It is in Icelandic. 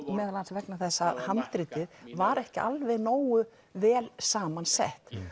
meðal annars vegna þess að handritið var ekki alveg nógu vel samansett